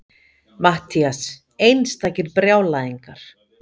MATTHÍAS: Einstakir brjálæðingar!